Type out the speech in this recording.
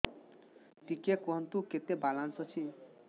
ଟିକେ କୁହନ୍ତୁ କେତେ ବାଲାନ୍ସ ଅଛି